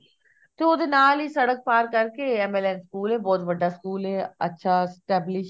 ਤੇ ਉਹਦੇ ਨਾਲ ਹੀ ਸੜਕ ਪਾਰ ਕਰਕੇ MLN ਸਕੂਲ ਐ ਬਹੁਤ ਵੱਡਾ ਸਕੂਲ ਐ ਅੱਛਾ established